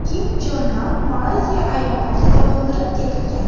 Kim Chon Nam Malayziya aeroportida o‘ldirib ketilgan.